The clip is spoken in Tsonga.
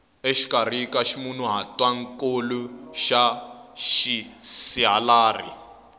exikarhi ka ximunhuhatwankulu na xisihalari